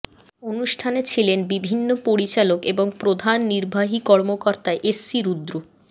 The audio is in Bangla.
অনুষ্ঠানে ছিলেন বিভিন্ন পরিচালক এবং প্রধান নির্বাহী কর্মকর্তা এস সি রুদ্র